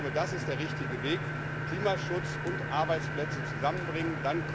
Ich glaube, das ist der richtige Weg Klimaschutz und Arbeitsplätze zusammenbringen.